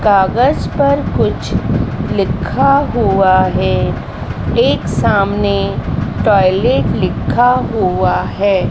कागज़ पर कुछ लिखा हुआ है एक सामने टॉयलेट लिखा हुआ है।